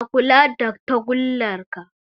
Ka kula da tagullar ka